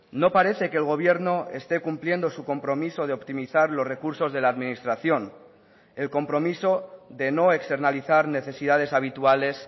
no parece que el gobierno esté cumpliendo su compromiso de optimizar los recursos de la administración el compromiso de no externalizar necesidades habituales